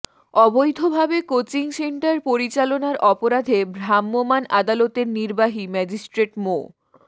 অবৈধভাবে coaching centre পরিচালনার অপরাধে ভ্রাম্যমাণ আদালতের নির্বাহী ম্যাজিস্ট্রেট মো